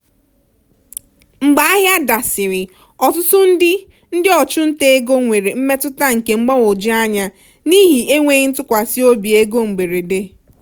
mgbe ahịa dasịrị ọtụtụ ndị ndị ọchụnta ego nwere mmetụta nke mgbagwoju anya n'ihi enweghị ntụkwasị obi ego mberede.